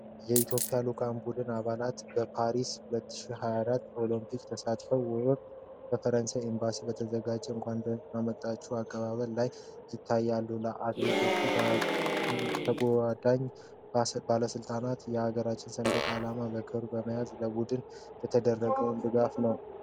የኢትዮጵያ ልዑካን ቡድን አባላት በፓሪስ 2024 ኦሊምፒክ ተሳትፎ ወቅት በፈረንሳይ ኤምባሲ በተዘጋጀ የእንኳን ደህና መጣችሁ አቀባበል ላይ ይታያሉ። አትሌቶቹና ተጓዳኝ ባለሥልጣናት የአገራቸውን ሰንደቅ ዓላማ በአክብሮት በመያዝ ለቡድኑ የተደረገውን ድጋፍ ነው።